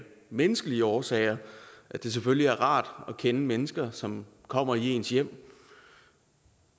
menneskelige årsager at det selvfølgelig er rart at kende mennesker som kommer i ens hjem